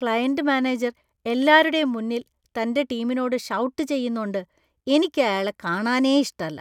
Client manager എല്ലാരുടേം മുന്നിൽ തന്‍റെ ടീമിനോട് ഷൗട്ട് ചെയ്യുന്നോണ്ട് എനിക്കയാളെ കാണാനേ ഇഷ്ടല്ല.